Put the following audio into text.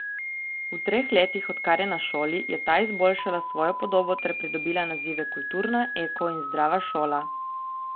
V treh letih, odkar je na šoli, je ta izboljšala svojo podobo ter pridobila nazive kulturna, eko in zdrava šola.